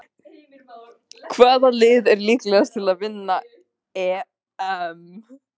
Hvaða lið er líklegast til að vinna EM?